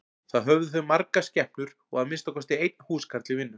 Þá höfðu þau margar skepnur og að minnsta kosti einn húskarl í vinnu.